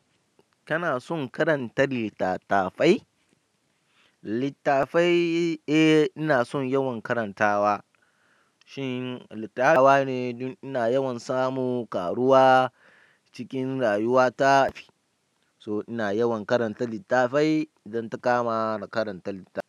Kana son karanta littatafai? Littafai, eh ina son yawan karantawa. Shi litafi ina yawan samun ƙaruwa cikin rayuwata. So ina yawan karanta littafai idan ta kama ni karanta littafi.